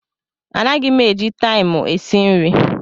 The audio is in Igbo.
Anaghị m eji taịmụ esi nri.